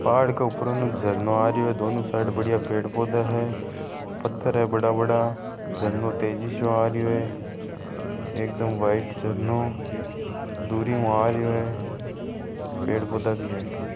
पहाड़ के ऊपर न झरना आ रहयो है दोनों साइड बढ़िया पेड़ पौधा है पत्थर है बड़ा बड़ा झरनों तेजी सो आ रहयो है एक दम व्हाइट झरनों दुरी हु आ रयो है पेड़ पौधा भी है।